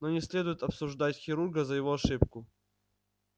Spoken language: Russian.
но не следует обсуждать хирурга за его ошибку